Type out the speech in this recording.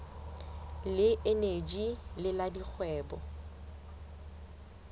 le eneji le la dikgwebo